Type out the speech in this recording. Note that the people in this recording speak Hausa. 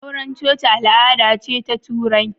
Auren coci al'ada ce ta Turai.